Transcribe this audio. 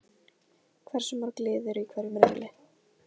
Hversu mörg lið eru í hverjum riðli?